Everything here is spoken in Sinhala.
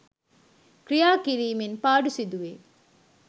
ක්‍රියා කිරීමෙන් පාඩු සිදු වෙයි.